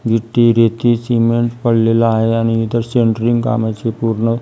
विटी रेती सिमेंट पडलेलं आहे आणि इथं सेंट्रींग कामाची पूर्ण--